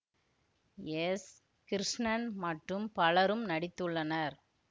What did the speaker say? S Krishnan மற்றும் பலரும் நடித்துள்ளனர்